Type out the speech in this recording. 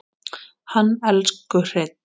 Hann elsku Hreinn.